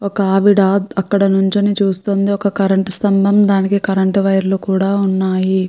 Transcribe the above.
ఒకావిడ అక్కడ నించుని చూస్తుంది ఒక కరెంట్ స్తంభం దానికి కరెంట్ వైర్ లు కూడా ఉన్నాయి.